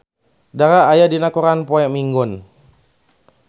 Dara aya dina koran poe Minggon